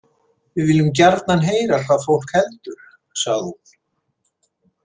Við viljum gjarnan heyra hvað fólk heldur, sagði hún.